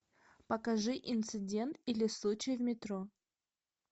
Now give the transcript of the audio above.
покажи инцидент или случай в метро